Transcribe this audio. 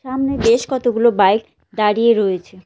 সামনে বেশ কতগুলো বাইক দাঁড়িয়ে রয়েছে।